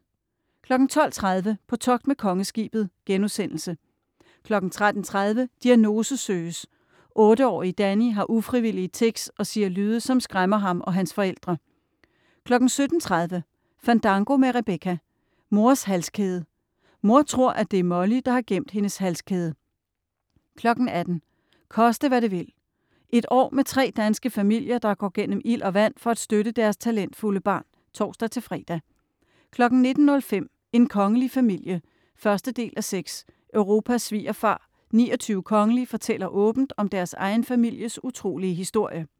12.30 På togt med Kongeskibet* 13.30 Diagnose søges. Otteårige Danni har ufrivillige tics og siger lyde, som skræmmer ham og hans forældre. 17.30 Fandango med Rebecca. Mors halskæde, Mor tror, at det er Molly, der har gemt hendes halskæde 18.00 Koste, hvad det vil Et år med tre danske familier, der går gennem ild og vand for at støtte deres talentfulde barn (tors-fre) 19.05 En kongelig familie 1:6 Europas svigerfar, 29 kongelige fortæller åbent om deres egen families utrolige historie